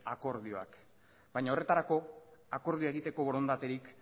akordioak baina horretarako akordioa egiteko borondaterik